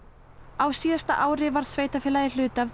á síðasta ári varð sveitarfélagið hluti af